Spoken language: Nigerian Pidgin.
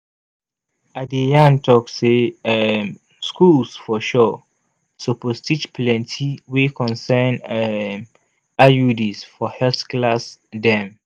i de yan tok say um schools for sure suppose teach plenti wey concern um iuds for health class dem